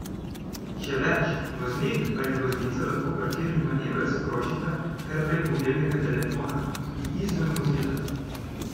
Še več, voznik ali voznica lahko parkirni manever sprožita kar prek mobilnega telefona tudi izven vozila!